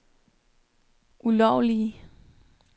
ulovlige